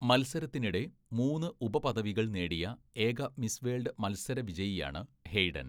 മത്സരത്തിനിടെ മൂന്ന് ഉപപദവികള്‍ നേടിയ ഏക മിസ് വേൾഡ് മത്സരവിജയിയാണ് ഹെയ്ഡൻ.